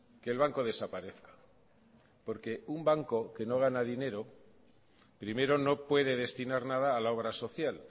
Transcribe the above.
que el banco desaparezca porque un banco que no gana dinero primero no puede destinar nada a la obra social